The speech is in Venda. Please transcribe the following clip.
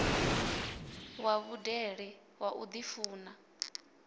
wa vhudele wa u ḓifuna